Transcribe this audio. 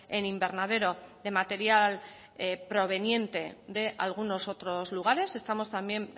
en invernadero de material proveniente de algunos otros lugares estamos también